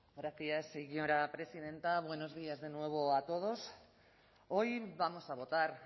gracias señora presidenta buenos días de nuevo a todos hoy vamos a votar